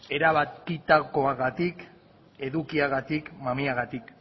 erabakitakoagatik edukiagatik mamiagatik